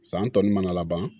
San tɔ ninnu mana laban